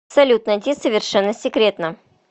салют найти совершенно секретно